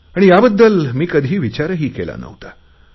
आणि याबद्दल मी कधीसुध्दा विचार केला नव्हता